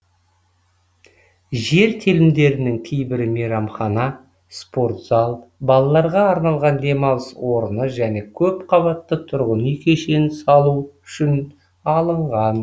жер телімдерінің кейбірі мейрамхана спорт зал балаларға арналған демалыс орны және көпқабатты тұрғын үй кешенін салу үшін алынған